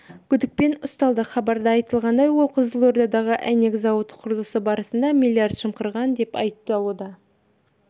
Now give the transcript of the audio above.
күдікпен ұсталды хабарда айтылғандай ол қызылордадағы әйнек зауыты құрылысы барысында миллиард жымқырған деп айыпталуда